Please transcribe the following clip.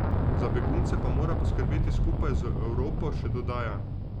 Za begunce pa mora poskrbeti skupaj z Evropo, še dodaja.